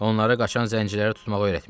Onlara qaçan zənciləri tutmağı öyrətmişəm.